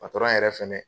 patɔrɔn yɛrɛ fɛnɛ